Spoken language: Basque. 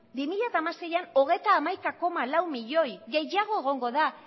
bi mila hamaseian hogeita hamaika koma lau milioi gehiago egongo da